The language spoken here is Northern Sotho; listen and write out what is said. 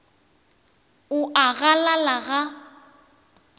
o a a galala ga